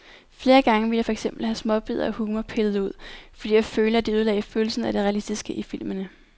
Flere gange ville jeg for eksempel have småbidder af humor pillet ud, fordi jeg følte, at de ødelagde følelsen af det realistiske i filmene.